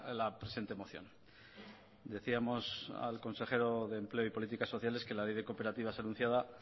la presente moción decíamos al consejero de empleo y políticas sociales que la ley de cooperativas anunciada